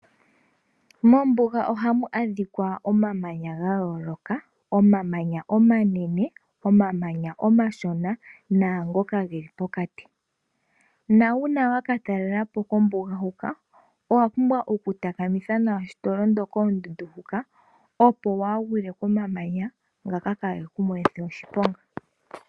Moombuga oha mu adhika omamanya ga yooloka, onamanya omanene, omamanya omashona naangoka ge li pokati. Na uuna wa ka talelapo kombuga huka owa pumbwa oku takamitha nawa shi to londo koondundu huka, opo waa ha londe komamanya ngaka kaa ga he ku monithe oshiponga.